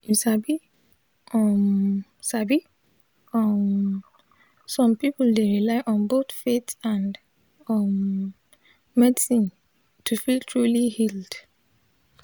you sabi um sabi um som pipul dey rely on both faith and um medicine to feel truly healed.